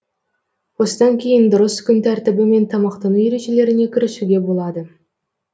осыдан кейін дұрыс күн тәртібі мен тамақтану ережелеріне кірісуге болады